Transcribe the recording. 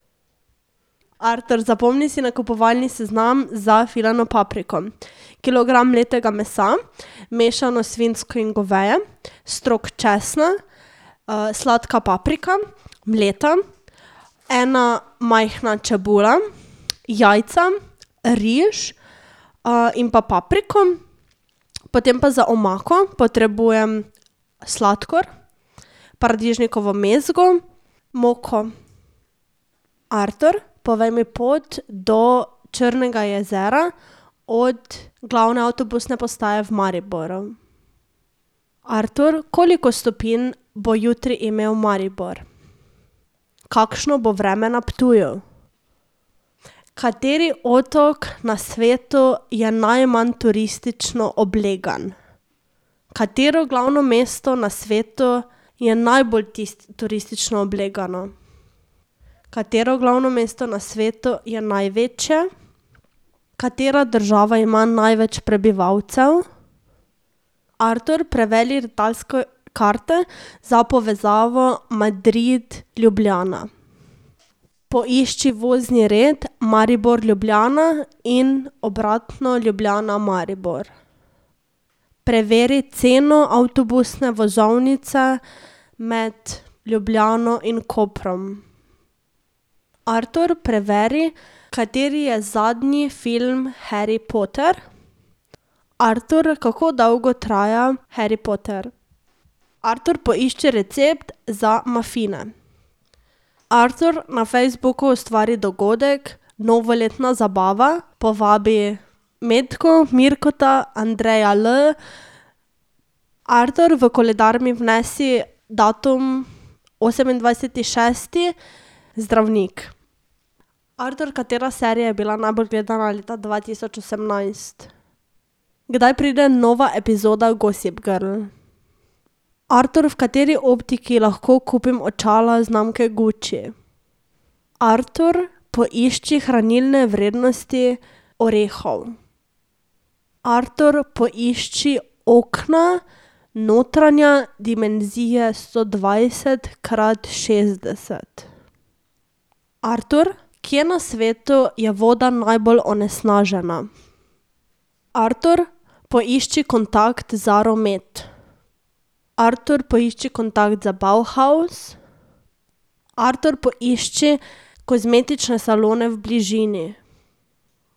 Artur, zapomni si nakupovalni seznam za filano papriko. Kilogram mletega mesa, mešano svinjsko in goveje, strok česna, sladka paprika, mleta, ena majhna čebula, jajca, riž, in pa papriko. Potem pa za omako potrebujem sladkor, paradižnikovo mezgo, moko. Artur, povej mi pot do Črnega jezera od glavne avtobusne postaje v Mariboru. Artur, koliko stopinj bo jutri imel Maribor? Kakšno bo vreme na Ptuju? Kateri otok na svetu je najmanj turistično oblegan? Katero glavno mesto na svetu je najbolj turistično oblegano? Katero glavno mesto na svetu je največje? Katera država ima največ prebivalcev? Artur, preveri letalske karte za povezavo Madrid-Ljubljana. Poišči vozni red Maribor-Ljubljana in obratno Ljubljana-Maribor. Preveri ceno avtobusne vozovnice med Ljubljano in Koprom. Artur, preveri, kateri je zadnji film Harry Potter. Artur, kako dolgo traja Harry Potter? Artur, poišči recept za mafine. Artur, na Facebooku ustvari dogodek Novoletna zabava. Povabi Metko, Mirka, Andreja L. Artur, v koledar mi vnesi datum osemindvajseti šesti, zdravnik. Artur, katera serija je bila najbolj gledana leta dva tisoč osemnajst? Kdaj pride nova epizoda Gossip Girl? Artur, v kateri optiki lahko kupim očala znamke Gucci? Artur, poišči hranilne vrednosti orehov. Artur, poišči okna notranja dimenzije sto dvajset krat šestdeset. Artur, kje na svetu je voda najbolj onesnažena? Artur, poišči kontakt Zaromet. Artur, poišči kontakt za Bauhaus. Artur, poišči kozmetične salone v bližini.